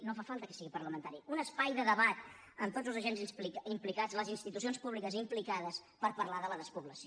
no fa falta que sigui parlamentari amb tots els agents implicats les institucions públiques implicades per parlar de la despoblació